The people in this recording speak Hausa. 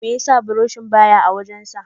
Meyasa buroshi ba ya a ma'aji sa?